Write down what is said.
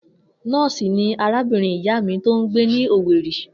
Nó̩ò̩sì ni arábìnrin ìyá mi tó ń gbé ni Owerri